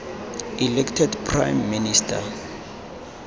elected prime minister